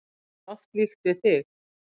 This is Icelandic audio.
Mér er oft líkt við þig.